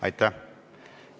Aitäh!